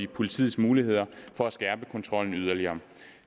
politiets muligheder for at skærpe kontrollen yderligere